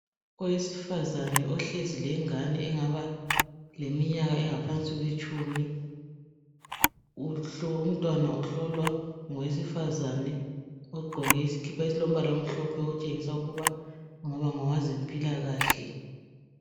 Owesifazane ohlezi lengane engaba leminyaka engaphansi kwetshumi. Umntwana uhlolwa ngowesifazane ogqoke isikipa esilombala omhlophe otshengisa ukuba engaba ngowezempilakahle.